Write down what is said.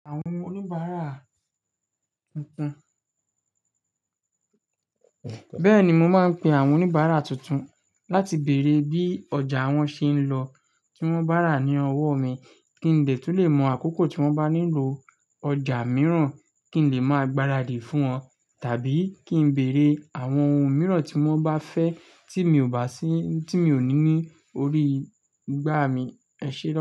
Àwọn oníbàárà tuntun. Bẹ́ẹ̀ni, mo máa ń pe àwọn oníbàárà tuntun láti bèrè bí ọjà wọn ṣe ń lọ, tí wọ́n bá rà ní ọwọ́ mi, kí n lè tún lè mọ àkókò tí wọ́n bá nílò ọjà mìíràn, kí n lè máa gbaradì fún wọn tàbí kí n bèrè àwọn ohun mìíràn tí wọ́n bá fẹ́ tí mi ò bá sí tí mi ò ní ní orí igbá mi. Ẹ ṣé.